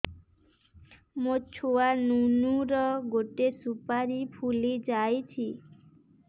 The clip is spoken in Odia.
ମୋ ଛୁଆ ନୁନୁ ର ଗଟେ ସୁପାରୀ ଫୁଲି ଯାଇଛି